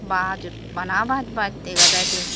baj bana baj baj dega jai de.